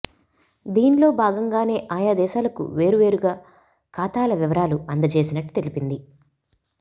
దీన్లో భాగంగానే ఆయా దేశాలకు వేర్వేవేరుగా ఖాతాల వివరాలు అందజేసినట్టు తెలిపింది